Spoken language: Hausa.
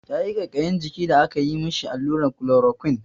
Yayi ƙaiƙayin jiki da aka yi mishi alluran klorokwin.